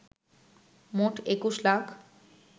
মোট ২১ লাখ